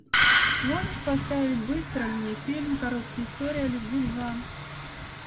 можешь поставить быстро мне фильм короткие истории о любви два